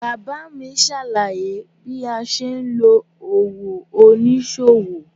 Bàbá mi ṣàlàyé bí a ṣe ń lo òwò oníṣòwò.